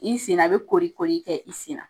I senna, a bɛ kooli kooli kɛ i kɛ i sen.